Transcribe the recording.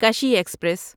کشی ایکسپریس